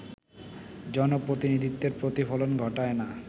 জনপ্রতিনিধিত্বের প্রতিফলন ঘটায়না